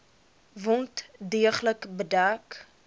wond deeglik bedek